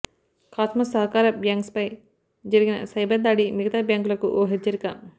cosmos సహకార బ్యాంక్పై జరిగిన సైబర్ దాడి మిగతా బ్యాంకులకు ఓ హెచ్చరిక